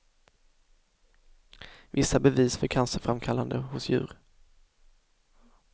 Vissa bevis för cancerframkallande hos djur.